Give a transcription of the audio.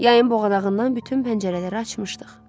Yayın boğanağından bütün pəncərələri açmışdıq.